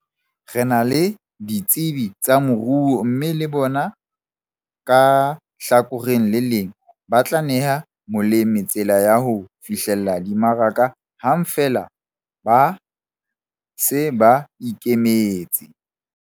Re na le ditsebi tsa moruo mme le bona ka hlakoreng le leng ba tla neha molemi tsela ya ho fihlella dimaraka hang feela ba se ba ikemetse.